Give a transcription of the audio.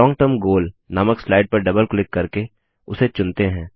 लोंग term goal नामक slide पर double click करके उसे चुनते हैं